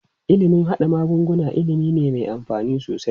Ilimin haɗa magunguna ilimi ne me amfani sosai.